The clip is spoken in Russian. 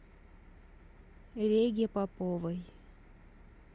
реге поповой